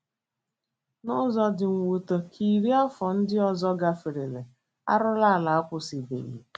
N’ụzọ dị mwute, ka iri afọ ndị ọzọ gaferela, arụrụala akwụsịbeghị.